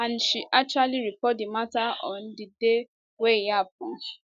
and she actually report di mata on di day wey e happun